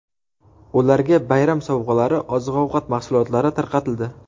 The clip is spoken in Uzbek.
Ularga bayram sovg‘alari, oziq-ovqat mahsulotlari tarqatildi.